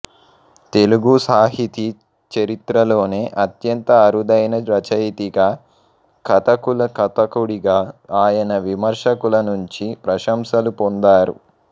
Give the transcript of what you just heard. తెలుగు సాహితీ చరిత్రలోనే అత్యంత అరుదైన రచయితగా కథకుల కథకుడిగా ఆయన విమర్శకులనుంచి ప్రశంసలు పొందారు